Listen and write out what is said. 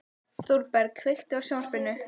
Þorberg, kveiktu á sjónvarpinu.